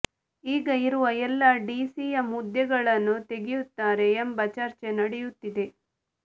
ಈಗ ಇರುವ ಎಲ್ಲ ಡಿಸಿಎಂ ಹುದ್ದೆಗಳನ್ನು ತೆಗೆಯುತ್ತಾರೆ ಎಂಬ ಚರ್ಚೆ ನಡೆಯುತ್ತಿದೆ